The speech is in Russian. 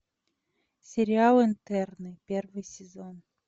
сериал интерны первый сезон